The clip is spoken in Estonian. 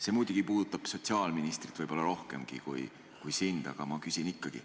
See muidugi puudutab sotsiaalministrit võib-olla rohkem kui sind, aga ma küsin ikkagi.